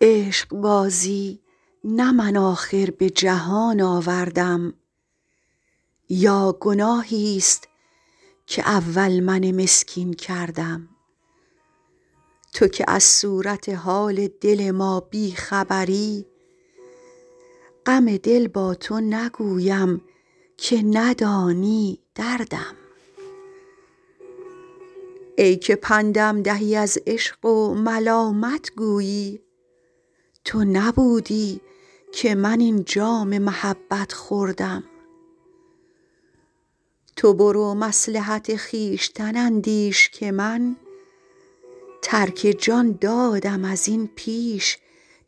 عشقبازی نه من آخر به جهان آوردم یا گناهیست که اول من مسکین کردم تو که از صورت حال دل ما بی خبری غم دل با تو نگویم که ندانی دردم ای که پندم دهی از عشق و ملامت گویی تو نبودی که من این جام محبت خوردم تو برو مصلحت خویشتن اندیش که من ترک جان دادم از این پیش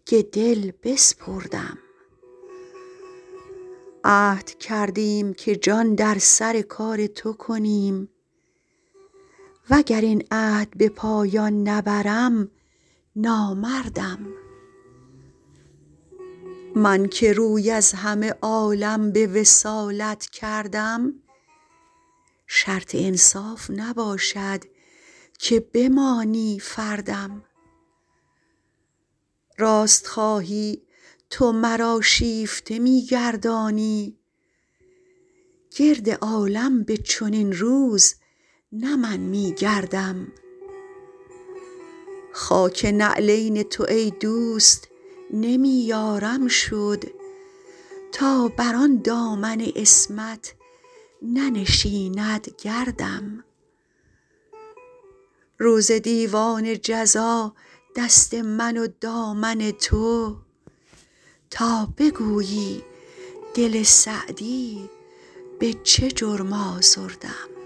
که دل بسپردم عهد کردیم که جان در سر کار تو کنیم و گر این عهد به پایان نبرم نامردم من که روی از همه عالم به وصالت کردم شرط انصاف نباشد که بمانی فردم راست خواهی تو مرا شیفته می گردانی گرد عالم به چنین روز نه من می گردم خاک نعلین تو ای دوست نمی یارم شد تا بر آن دامن عصمت ننشیند گردم روز دیوان جزا دست من و دامن تو تا بگویی دل سعدی به چه جرم آزردم